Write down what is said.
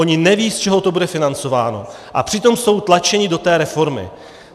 Oni nevědí, z čeho to bude financováno, a přitom jsou tlačeni do té reformy.